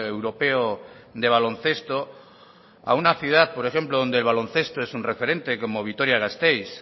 europeo de baloncesto a una ciudad por ejemplo donde el baloncesto es un referente como vitoria gasteiz